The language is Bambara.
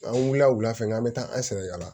An wulila wula fɛ n'an bɛ taa an sɛnɛkala la